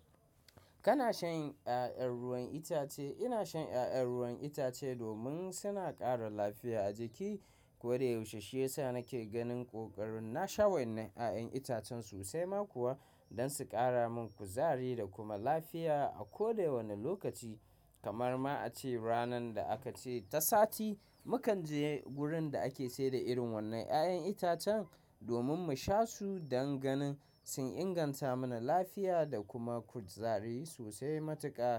Kana shan ƴaƴan ruwan itace? Ina shan ƴaƴan ruwan itace domin suna ƙara lafiya a jiki ko da yaushe shiyasa nake ganin ƙoƙarin na sha wannan ƴaƴan itacen sosai ma kuwa don su ƙara min kuzari da kuma lafiya a koda wanne lokaci. Kamar ma a ce ranar da aka ce ta sati mukan je wurin da ake sayar da irin wannan ƴaƴan itacen domin mu sha su don ganin sun inganta mana lafiya da kuma kuzari sosai matuƙa.